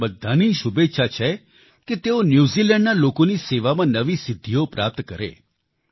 આપણા બધાની શુભેચ્છા છે કે તેઓ ન્યૂઝીલેન્ડના લોકોની સેવામાં નવી સિદ્ધીઓ પ્રાપ્ત કરે